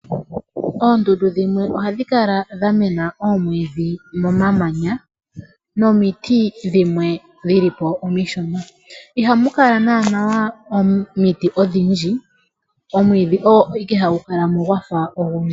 Oondundu dhimwe ohadhi kala dha mena oomwiidhi momamanya nomiti dhimwe dhi li po omishona, ihamu kala naanaa omiti odhindji, omwiidhi ogo ike hagu kala mo gwa fa ogundji.